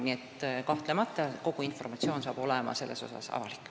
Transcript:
Nii et kahtlemata hakkab kogu informatsioon selle kohta olema avalik.